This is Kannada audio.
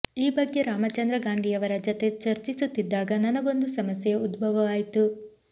ಈ ಬಗ್ಗೆ ರಾಮಚಂದ್ರ ಗಾಂಧಿಯವರ ಜತೆ ಚರ್ಚಿಸುತ್ತಿದ್ದಾಗ ನನಗೊಂದು ಸಮಸ್ಯೆ ಉದ್ಭವವಾಯಿತು